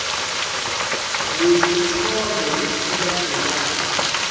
lesi sithombe esilandelayo